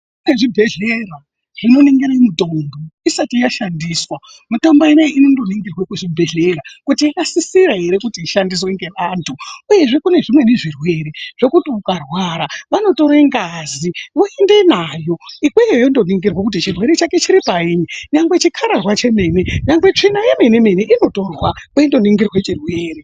Kune zvibhedhlera zvinoningire mitombo isati yashandiswa, mitombo inei inondoningirwa kuzvibhedhlera kuti yakasisira ere kuti ishandiswe ngeanthu uyezve kune zvimweni zvirwere zvekuti ukarwara vanotore ngazi voende nayo ikweyo yondoningirwa kuti chirwere chako chiri paini, nyangwe chikararwa chemene nyangwe tsvina yemene mene inotorwa kweindoningirwe chirwere.